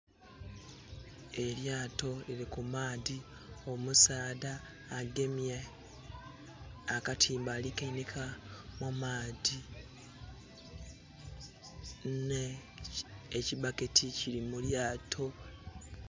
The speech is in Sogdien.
Eryaato liri ku maadhi, omusaadha agemye akatimba ali kanhika mu maadhi nhe kibbaketi kiri mu lyaato.